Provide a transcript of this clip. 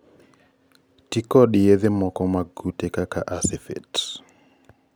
tii kod yedhe moko mag kute kaka acephate, lambda-cyhalothrin, chlorypirifos kod aetomiprid .